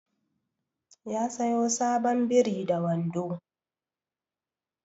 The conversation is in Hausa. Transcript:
Ya siyo sabon biri da wando